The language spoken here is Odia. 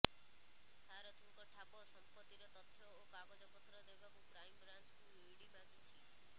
ସାରଥିଙ୍କ ଠାବ ସମ୍ପତ୍ତିର ତଥ୍ୟ ଓ କାଗଜପତ୍ର ଦେବାକୁ କ୍ରାଇମବାଞ୍ଚକୁ ଇଡି ମାଗିଛି